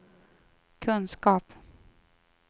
kunskap